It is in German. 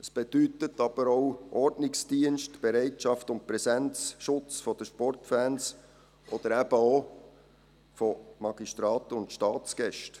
Das bedeutet aber auch Ordnungsdienst, Bereitschaft und Präsenz, Schutz der Sportfans, oder eben auch von Magistraten und Staatsgästen.